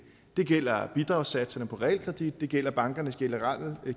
det gælder bidragssatserne på realkreditlån det gælder bankernes generelle